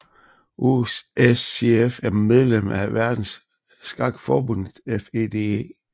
USCF er medlem af verdensskakforbundet FIDE